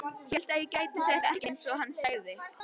Hélt ég gæti þetta ekki, einsog hann sagði.